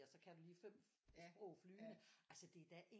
Og så du lige 5 sprog flydende altså det er da